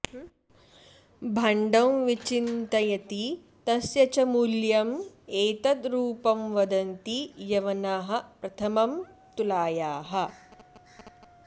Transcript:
भाण्डं विचिन्तयति तस्य च मूल्यम् एतद् रूपं वदन्ति यवनाः प्रथमं तुलायाः